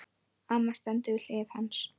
Amma stendur við hlið hans.